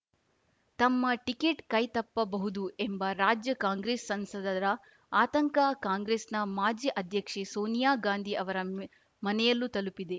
ತಮ್ಮ ಟಿಕೆಟ್‌ ಕೈ ತಪ್ಪಬಹುದು ಎಂಬ ರಾಜ್ಯ ಕಾಂಗ್ರೆಸ್‌ ಸಂಸದರ ಆತಂಕ ಕಾಂಗ್ರೆಸ್‌ನ ಮಾಜಿ ಅಧ್ಯಕ್ಷೆ ಸೋನಿಯಾ ಗಾಂಧಿ ಅವರ ಮನೆಯಲ್ಲೂ ತಲುಪಿದೆ